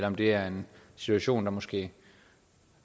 om det er en situation der måske